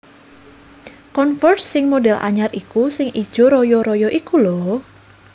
Converse sing model anyar iku sing ijo royo royo iku lho